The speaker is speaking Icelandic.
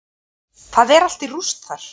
Það er allt í rúst þar.